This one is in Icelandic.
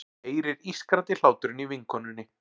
Heyrir ískrandi hláturinn í vinkonunni.